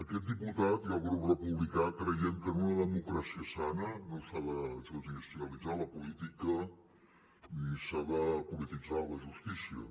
aquest diputat i el grup republicà creiem que en una democràcia sana no s’ha de judicialitzar la política ni s’ha de polititzar la justícia